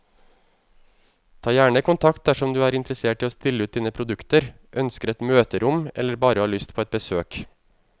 Ta gjerne kontakt dersom du er interessert i å stille ut dine produkter, ønsker et møterom eller bare har lyst på et besøk.